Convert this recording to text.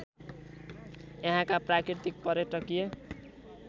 यहाँका प्राकृतिक पर्यटकीय